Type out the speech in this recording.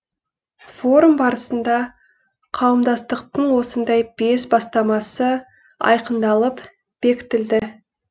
форум барысында қауымдастықтың осындай бес бастамасы айқындалып бекітілді